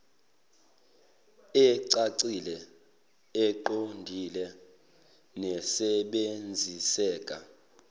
ecacile eqondile nesebenziseka